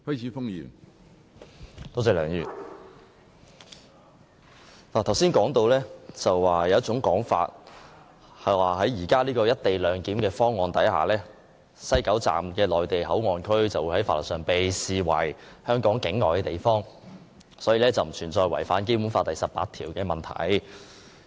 梁議員，剛才提到有一種說法，指根據現時的"一地兩檢"方案，設於西九龍站的內地口岸區會在法律上被視為香港境外地方，所以並不存在違反《基本法》第十八條的問題。